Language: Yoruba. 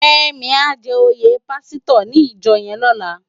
Femi á jè óyé pàsítò ni ijò yèn lòlá